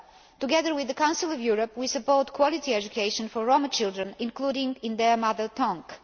Together with the Council of Europe, we support quality education for Roma children, including in their mother tongue.